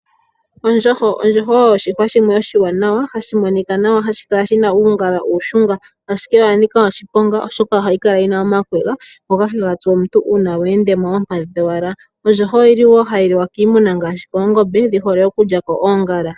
Ondjoho oyo oshihwa shimwe hashi oshiwanawa, hashi monika nawa, hashi kala shina uungala uushunga. Ashike oya nika oshiponga oshoka ohayi kala yina omakwega ngoka haga tsu omuntu ngele weenda noompadhi kowala. Ondjoho oyili wo hayi liwa kiimuna, oshihole okulyako oongala.